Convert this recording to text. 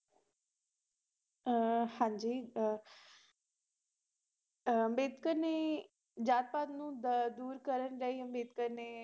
ਹਾਂਜੀ ਅੰਬੇਡਕਰ ਨੇ ਜਾਤ ਪਾਤ ਨੂੰ ਦੂਰ ਕਰਨ ਲਈ ਅੰਬੇਡਕਰ ਨੇ